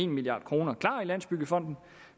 milliard kroner klar i landsbyggefonden